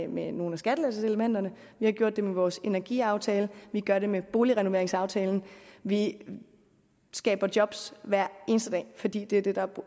med nogle af skattelettelseselementerne vi har gjort det med vores energiaftale vi gør det med boligrenoveringsaftalen vi skaber job hver eneste dag fordi det er det der er